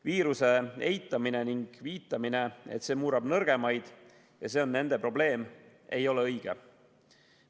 Viiruse eitamine ning viitamine, et see murrab nõrgemaid ja see on nende probleem, ei ole õige.